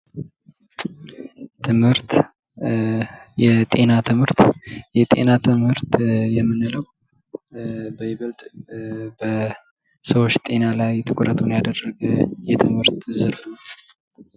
ትምህርት የጤና ትምህርት ፡-የጤና ትምህርት የምንለው በይበልጥ በሰዎች ጤና ላይ ትኩረትን ያደረገ የትምህርት ዘርፍ ነው።